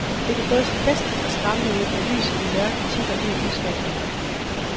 Det kan både se festligt og skræmmende ud, når lyset i mørke titter ud af udskæringerne.